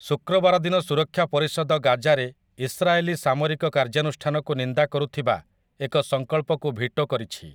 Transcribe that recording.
ଶୁକ୍ରବାର ଦିନ ସୁରକ୍ଷା ପରିଷଦ ଗାଜାରେ ଇସ୍ରାଏଲି ସାମରିକ କାର୍ଯ୍ୟାନୁଷ୍ଠାନକୁ ନିନ୍ଦା କରୁଥିବା ଏକ ସଂକଳ୍ପକୁ ଭିଟୋ କରିଛି ।